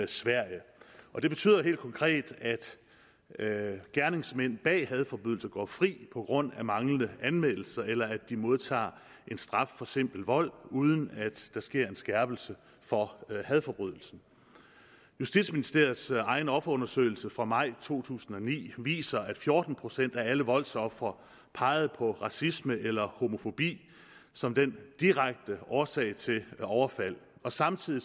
sverige og det betyder helt konkret at gerningsmænd bag hadforbrydelser går fri på grund af manglende anmeldelse eller at de modtager en straf for simpel vold uden at der sker en skærpelse for hadforbrydelsen justitsministeriets egen offerundersøgelse fra maj to tusind og ni viser at fjorten procent af alle voldsofre pegede på racisme eller homofobi som den direkte årsag til overfaldet og samtidig